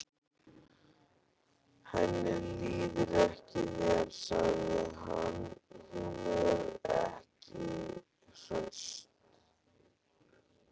Henni líður ekki vel, sagði hann: Hún er ekki hraust.